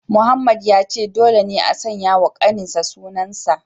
Mohammed ya ce dole ne a sanya wa kaninsa sunan sa